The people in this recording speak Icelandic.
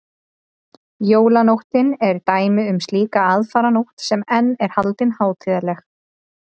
jólanóttin er dæmi um slíka aðfaranótt sem enn er haldin hátíðleg